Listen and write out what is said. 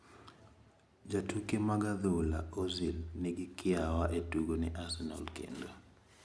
Jatuke mag adhula Ozil nigi kiawa e tugo ne Arsenal kendo.